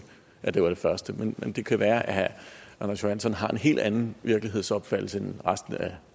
at det var det første men det kan jo være at herre anders johansson har en helt anden virkelighedsopfattelse end resten af